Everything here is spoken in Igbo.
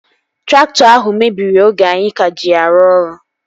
Traktọ ahụ mebiri oge anyị ka ji ya arụ ọrụ